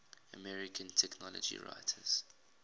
american technology writers